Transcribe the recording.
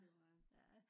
det var jeg